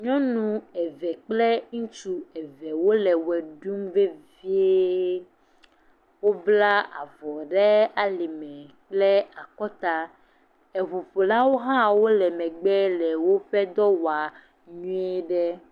Nyɔnu eve kple ŋutsu evewo le wɔ ɖum vevie, wobla avɔ ɖe alime kple akɔta, eŋuƒolawo hã le wole megbe le woƒe dɔ wɔm nyui ɖe.